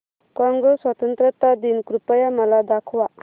Congo स्वतंत्रता दिन कृपया मला दाखवा